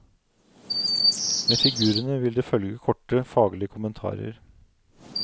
Med figurene vil det følge korte faglige kommentarer.